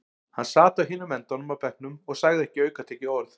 Hann sat á hinum endanum á bekknum og sagði ekki aukatekið orð.